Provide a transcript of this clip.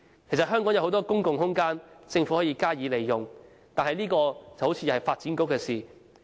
其實香港有很多公共空間，政府可以加以利用，這方面看來是發展局的工作。